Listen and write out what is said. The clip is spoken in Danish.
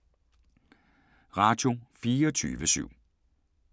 Radio24syv